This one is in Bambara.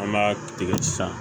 An b'a tigɛ san